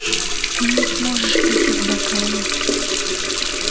ты не сможешь пить из бокала